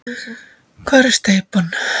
Hvar er steypan?